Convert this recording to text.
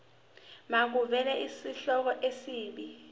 makuvele isihloko isib